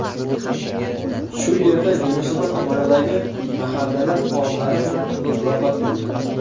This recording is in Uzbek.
Shu yerda Yunusobod tumanidagi mahallalar faollari bilan muloqot bo‘ldi.